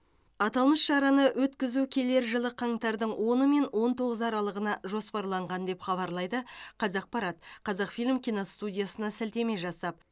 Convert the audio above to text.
аталмыш шараны өткізу келер жылы қаңтардың оны мен он тоғызы аралығына жоспарланған деп хабарлайды қазақпарат қазақфильм киностудиясына сілтеме жасап